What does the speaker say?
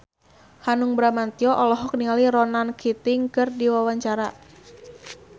Hanung Bramantyo olohok ningali Ronan Keating keur diwawancara